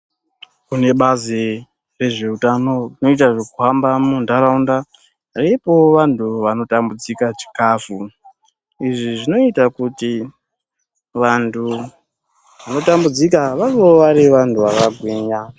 Kune bazi rezveutano rinoita zvekuhamba muntaraunda reipawo vantu vanotambudzika chikafu. Izvi zvinoita kuti vantu vanotambudzika vavewo vari vantu vakagwinya.